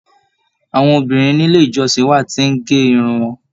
Àwọn obìnrin nílé ìjọsìn wà tí n gé irun wọn.